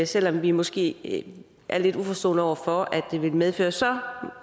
selv om vi måske er lidt uforstående over for at det vil medføre så